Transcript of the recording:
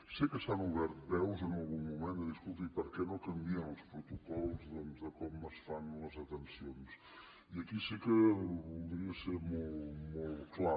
sé que s’han obert veus en algun moment de dir escolti i per què no canvien els protocols doncs de com es fan les detencions i aquí sí que voldria ser molt clar